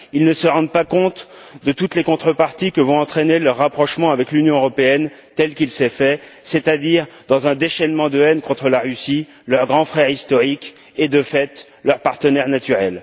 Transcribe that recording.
Ils ne se rendent pas compte de toutes les contreparties que vont entraîner leur rapprochement avec l'Union européenne, tel qu'il s'est fait, c'est à dire dans un déchaînement de haine contre la Russie, leur grand frère historique et, de fait, leur partenaire naturel.